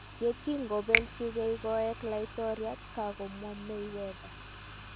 Yekingobeljingei koek Laitoriat, kakomwa Mayweather.